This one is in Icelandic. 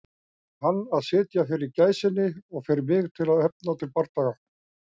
Fyrir hann til að sitja fyrir gæsinni og fyrir mig til að efna til bardaga.